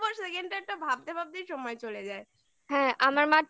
না আর কি বলবো lang:Engsecondlang:Eng একটা ভাবতে ভাবতেই সময় চলে যাই